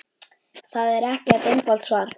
Það er ekkert einfalt svar.